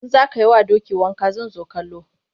In za ka yi wa doki wanka zan zo kallo.